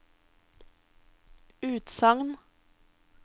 utsagn